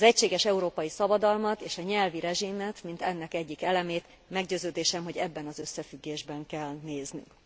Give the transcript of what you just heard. Az egységes európai szabadalmat és a nyelvi rezsimet, mint ennek egyik elemét, meggyőződésem, hogy ebben az összefüggésben kell néznünk.